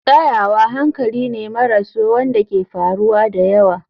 Tsayawa hankali ne maras so wanda ke faruwa da yawa.